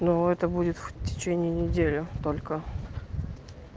но это будет в течение недели только